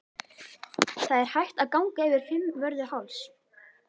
Það er hægt að ganga yfir Fimmvörðuháls.